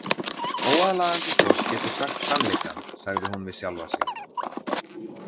Óaðlaðandi fólk getur sagt sannleikann, sagði hún við sjálfa sig.